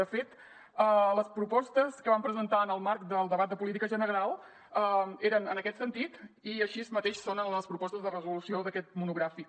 de fet les propostes que vam presentar en el marc del debat de política general eren en aquest sentit i així mateix són les propostes de resolució d’aquest monogràfic